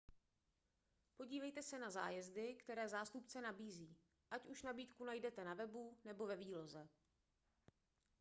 podívejte se na zájezdy které zástupce nabízí ať už nabídku najdete na webu nebo ve výloze